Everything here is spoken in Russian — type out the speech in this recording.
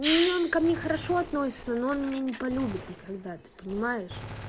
ну он ко мне хорошо относится но он меня не полюбит никогда ты понимаешь